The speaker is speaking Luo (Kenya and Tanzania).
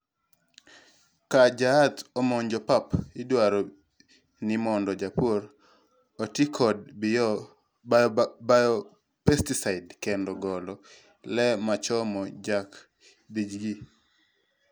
ka jaath omonjo pap, idwaro ni mondo japur oti kod bio-pesticide kendo golo le machamo jaac=th gi